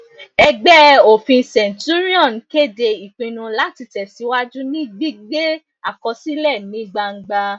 ẹgbẹ òfin centurion kéde ìpinnu láti tẹsíwájú ní gbígbé àkọsílẹ ní gbangba